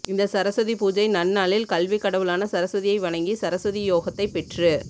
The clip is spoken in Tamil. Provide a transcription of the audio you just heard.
இந்த சரஸ்வதி பூஜை நன்னாளில் கல்வி கடவுளான சரஸ்வதியை வணங்கி சரஸ்வதி யோகத்தை பெற்று